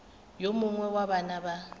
yo mongwe wa bana ba